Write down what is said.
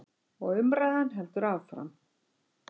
Og umræðan heldur hér áfram.